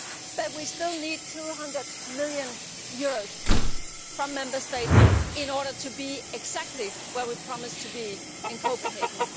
But we still need EUR 200 million from Member States in order to be exactly where we promised to be in Copenhagen.